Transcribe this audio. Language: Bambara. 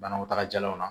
Banaw tagalaw la